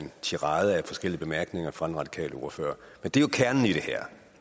tirade af forskellige bemærkninger fra den radikale ordfører men det er jo kernen i det her